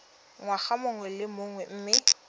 ngwaga mongwe le mongwe mme